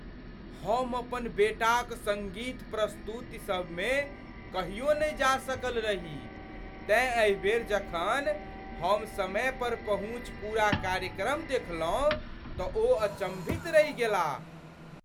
हम अपन बेटाक सङ्गीत प्रस्तुति सबमे कहियो नहि जा सकल रही तेँ एहि बेर जखन हम समय पर पहुँचि पूरा कार्यक्रम देखलहुँ तँ ओ अचम्भित रहि गेलाह।